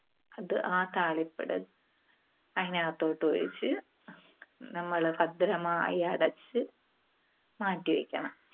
അത് ആ താളിപ്പ് അതിനകത്തോട്ട് ഒഴിച്ച് നമ്മള് ഭദ്രമായി അടച്ച് മാറ്റിവെക്കണം.